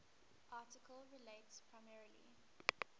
article relates primarily